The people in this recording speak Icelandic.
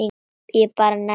Ég bara nenni því ekki.